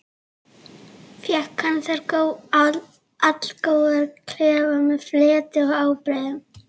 Fékk hann þar allgóðan klefa með fleti og ábreiðum.